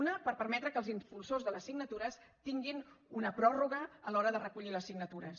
una per permetre que els impulsors de les signatures tinguin una pròrroga a l’hora de recollir les signatures